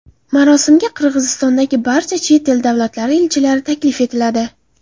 Marosimga Qirg‘izistondagi barcha chet el davlatlari elchilari taklif etiladi.